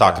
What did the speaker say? Tak.